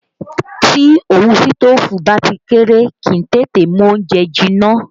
Tí òwú sitofu bá ti kéré, kì í tètè mú oúnjẹ jinná